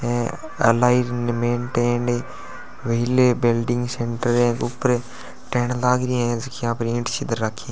Alignment and wheel welding centre है ऊपर टेंण लगा रहया है जखा पर ईट राखी है।